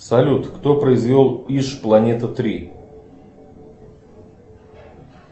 салют кто произвел иж планета три